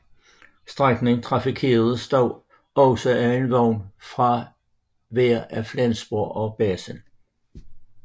Strækningen trafikeres dog også af en vogn fra hver af Flensborg og Basel